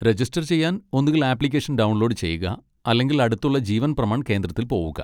Register ചെയ്യാൻ ഒന്നുങ്കിൽ application download ചെയ്യുക അല്ലെങ്കിൽ അടുത്തുള്ള ജീവൻ പ്രമാൺ കേന്ദ്രത്തിൽ പോവുക.